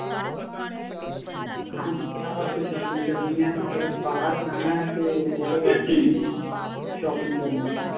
ਹਾਂਜੀ ਵਿਆਹ ਵਾਸਤੇ shopping ਕਰਨੀ ਹੈ ਨਾਲੇ ਬਾਹਰ ਜਾਣਾ ਤੇ ਉਹਦੇ ਵਾਸਤੇ ਵੀ shopping ਕਰਨੀ ਸੀ